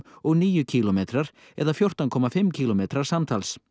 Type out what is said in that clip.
og níu kílómetrar eða fjórtán komma fimm kílómetrar samtals